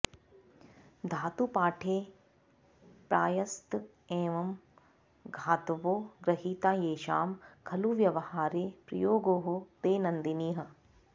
धातुपाठे प्रायस्त एंव धातवो गृहीता येषां खलु व्यवहारे प्रयोगोः दैनन्दिनः